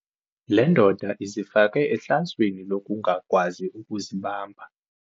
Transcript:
Le ndoda izifake ehlazweni lokungakwazi ukuzibamba.